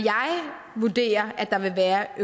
vurderer at der vil være